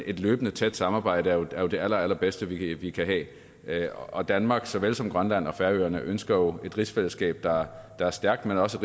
et løbende tæt samarbejde er jo det allerallerbedste vi vi kan have og danmark såvel som grønland og færøerne ønsker jo et rigsfællesskab der er stærkt men også